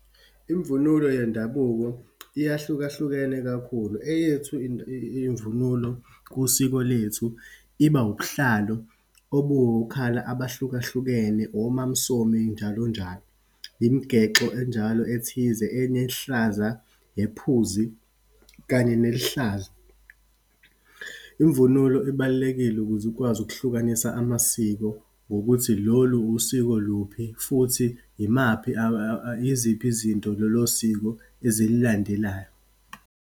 Imvunulo yendabuko iyahlukahlukene kakhulu. Eyethu imvunulo kusiko lethu, iba ubuhlali obuwo-colour abahlukahlukene, oMaMsomi, njalo njalo. Imigexo enjalo ethize enehlaza, nephuzi kanye nelihlaza. Imvunulo ibalulekile ukuze ukwazi ukuhlukanisa amasiko, ngokuthi lolu wusiko luphi, futhi yimaphi yiziphi izinto lolo siko ezililandelayo.